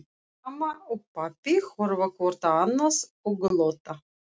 Mamma og pabbi horfa hvort á annað og glotta.